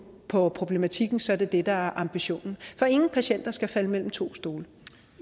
på problematikken så er det det der er ambitionen for ingen patienter skal falde mellem to stole